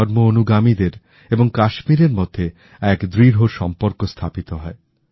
ধর্ম অনুগামীদের এবং কাশ্মীরের মধ্যে এক দৃঢ় সম্পর্ক স্থাপিত হয়